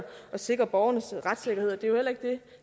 sikre borgernes retssikkerhed og det